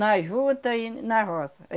Na juta e na roça.